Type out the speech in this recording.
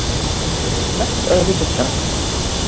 Hvert öðru beittara.